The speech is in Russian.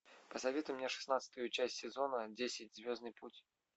посоветуй мне шестнадцатую часть сезона десять звездный путь